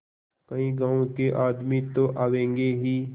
कई गाँव के आदमी तो आवेंगे ही